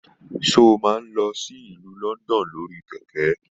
Se o máa n lọ sí ìlú London lórí kẹkẹ?